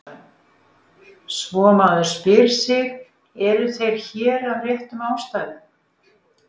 Svo maður spyr sig: eru þeir hér af réttum ástæðum?